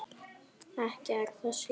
Ekki er það síðra.